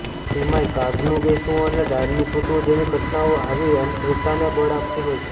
તેમાંયે કાગનું બેસવું અને ડાળનું તૂટવું જેવી ઘટનાઓ આવી અંધશ્રદ્વાને બળ આપતી હોય છે